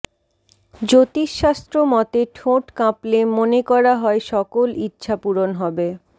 জ্যোতিষশাস্ত্র মতে ঠোঁট কাঁপলে মনে করা হয় সকল ইচ্ছাপূরণ হবে